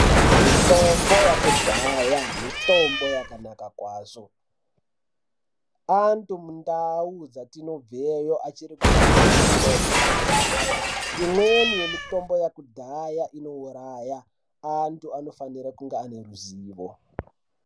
Mitombo yekudhaya mitombo yakanaka kwazvo antu mundau dzatinobveiyo anosisa kushandisa mitombo Yekudhaya imweni yemitombo iyi yekudhaya inouraya antu anofanira kunge ane ruzivo.